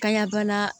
Kanya bana